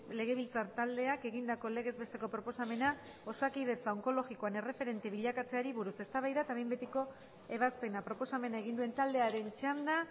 legebiltzar taldeak egindako legez besteko proposamena osakidetza onkologian erreferente bilakatzeari buruz eztabaida eta behin betiko ebazpena proposamena egin duen taldearen txanda